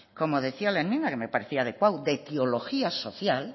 como decía la enmienda que me parecía adecuado de etiología social